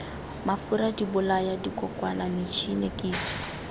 mafura dibolaya dikokwana metšhine kitso